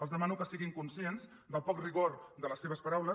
els demano que siguin conscients del poc rigor de les seves paraules